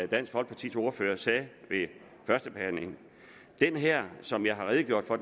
dansk folkepartis ordfører sagde ved førstebehandlingen den her som jeg har redegjort for